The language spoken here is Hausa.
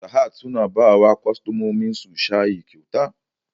Sahad suna bawa kwastamominsu shayi kyauta